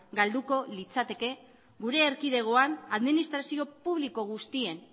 galduko litzateke gure erkidegoan administrazio publiko guztien